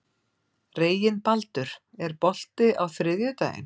Reginbaldur, er bolti á þriðjudaginn?